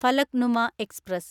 Falaknuma express